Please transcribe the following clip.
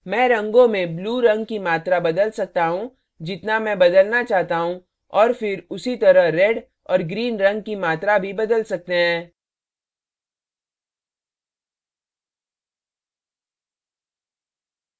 मैं रंगों में blue रंग की मात्रा बदल सकता हूँ जितना मैं बदलना चाहता हूँ और फिर उसी तरह red और green रंग की मात्रा भी बदल सकते हैं